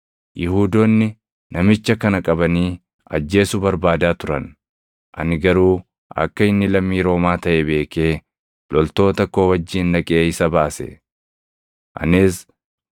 Yihuudoonni namicha kana qabanii ajjeesuu barbaadaa turan; ani garuu akka inni lammii Roomaa taʼe beekee loltoota koo wajjin dhaqee isa baase.